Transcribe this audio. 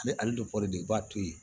Ani ali be de i b'a to yen